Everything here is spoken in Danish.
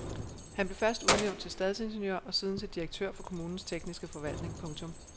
Han blev først udnævnt til stadsingeniør og siden til direktør for kommunens tekniske forvaltning. punktum